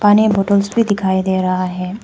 पानी बोटल्स भी दिखाई दे रहा है।